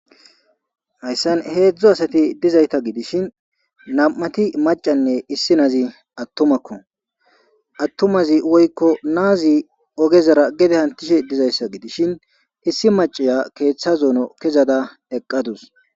Hayssan heezhzhu asati dizayta gidishin nam7uati macanne issinozi atumako atumazi woyko na7azi oggezara gedde hantishe diizayssa giddishin issi maccaiya keththa zoonon kezada eqqadusu.